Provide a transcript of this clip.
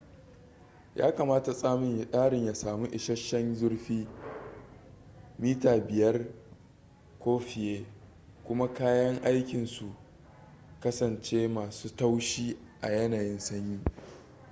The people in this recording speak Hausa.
ya kamata tsarin ya sami isasshen zurfi 5 mm inci 1/5 ko fiye kuma kayan aikin su kasance masu taushi a yanayin sanyi